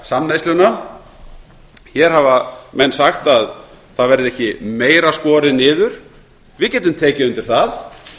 samneysluna hér hafa menn sagt að það verði ekki meira skorið niður við getum tekið undir það